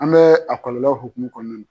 An bɛ a kɔlɔlɔ hukumu kɔnɔna na.